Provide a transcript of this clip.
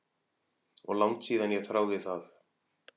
Og langt síðan ég þáði það.